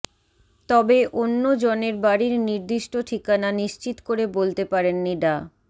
তবে অন্য জনের বাড়ির নির্দিষ্ট ঠিকানা নিশ্চিত করে বলতে পারেননি ডা